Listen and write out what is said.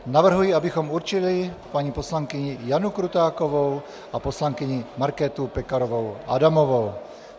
Navrhuji, abychom určili paní poslankyni Janu Krutákovou a poslankyni Markétu Pekarovou Adamovou.